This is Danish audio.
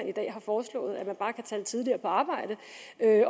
i dag har foreslået at man bare kan tage lidt tidligere på arbejde